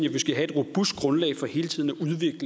at vi skal have et robust grundlag for hele tiden